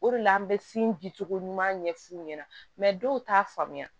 O de la an bɛ di cogo ɲuman ɲɛf'u ɲɛna dɔw t'a faamuya